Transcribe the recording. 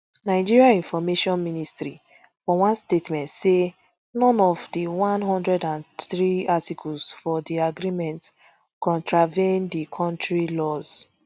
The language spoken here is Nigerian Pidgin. nigeria information ministry for one statement say none of di one hundred and three articles for di agreement contravene di kontri laws